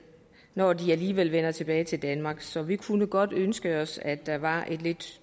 når de alligevel vender tilbage til danmark så vi kunne godt ønske os at der var en lidt